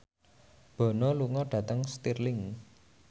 Bono lunga dhateng Stirling